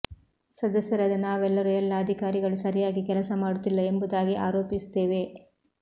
ಸದಸ್ಯರಾದ ನಾವೆಲ್ಲರೂ ಎಲ್ಲ ಅಧಿಕಾರಿಗಳು ಸರಿಯಾಗಿ ಕೆಲಸ ಮಾಡುತ್ತಿಲ್ಲ ಎಂಬುದಾಗಿ ಆರೋಪಿಸುತ್ತೇವೆ